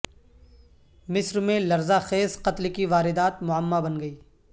مصر میں لرزہ خیز قتل کی واردات معمہ بن گئی